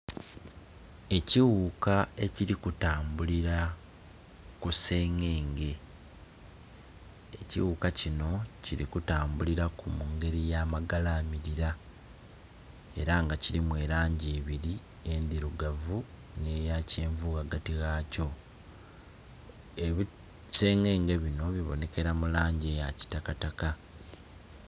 Ekiwuka ekili kutambulira ku sengenge. Ekiwuka kino kili kutambulira ku mu ngeri ya magalamilira. Era nga kilimu elangi ibiri, endhirugavu nh'eya kyenvu ghagati ghakyo. Ebisengenge bino bibonekera mu langi eya kitakataka.